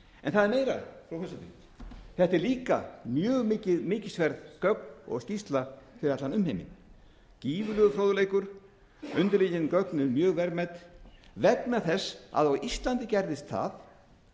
en það er meira frú forseti þetta eru líka mjög mikilsverð gögn og skýrsla fyrir allan umheiminn gífurlegur fróðleikur undirliggjandi gögn eru mjög verðmæt vegna þess að á íslandi gerðist það